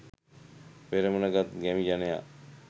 පෙරමුණ ගත් ගැමි ජනයා